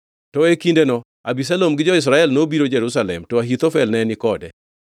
To gi e kindeno, Abisalom gi jo-Israel nobiro Jerusalem to Ahithofel ne ni kode.